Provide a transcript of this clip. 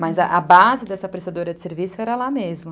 Mas a base dessa prestadora de serviço era lá mesmo.